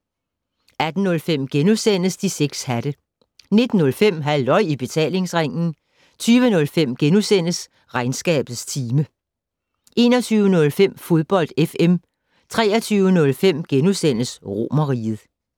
18:05: De 6 hatte * 19:05: Halløj I Betalingsringen 20:05: Regnskabets time * 21:05: Fodbold FM 23:05: Romerriget *